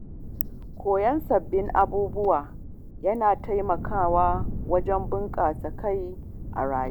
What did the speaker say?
Koyon sabbin abubuwa yana taimakawa wajen bunƙasa kai a rayuwa.